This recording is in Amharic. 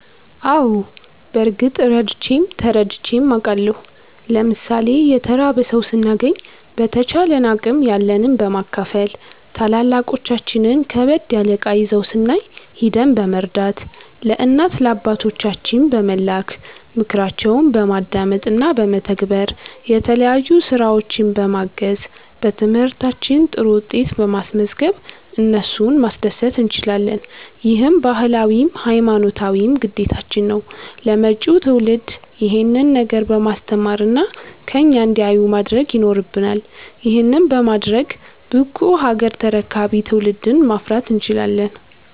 አዎ በርግጥ ረድቼም ተረድቼም አቃለሁ። ለምሣሌ የተራበ ሠው ስናገኝ በተቻለን አቅም ያለንን በማካፈል፣ ታላላቆቻችን ከበድ ያለ እቃ ይዘው ስናይ ሂደን በመርዳት፣ ለእናት ለአባቶቻችን በመላክ፣ ምክራቸውን በማዳመጥ እና በመተግበር፣ የተለያዩ ስራዎች በማገዝ፣ በትምህርታችን ጥሩ ውጤት በማስዝገብ እነሱን ማስደሰት እንችላለን። ይህም ባህላዊም ሀይማኖታዊም ግዴታችን ነው። ለመጪው ትውልድ ይሄንን ነገር በማስተማር እና ከኛ እንዲያዩ ማድረግ ይኖረብናል። ይህንንም በማድረግ ብቁ ሀገር ተረካቢ ትውልድን ማፍራት እንችላለን።